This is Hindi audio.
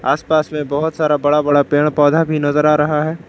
आसपास में बहुत सारा बड़ा बड़ा पेड़ पौधा भी नजर आ रहा है।